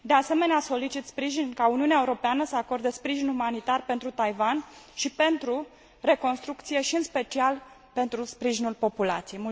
De asemenea, solicit sprijin ca Uniunea Europeană să acorde sprijin umanitar pentru Taiwan și pentru reconstrucție și, în special, pentru sprijinul populației.